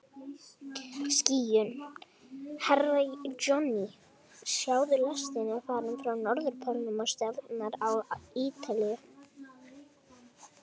Herra Johnny, sjáðu, lestin er farin frá Norðurpólnum og stefnir á Ítalíu.